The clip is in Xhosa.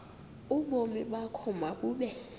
ubomi bakho mabube